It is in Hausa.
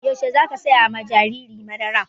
Yaushe za ka saya ma jariri madara?